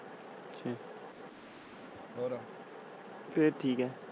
ਠੀਕ ਆ।